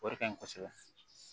O de ka ɲi kosɛbɛ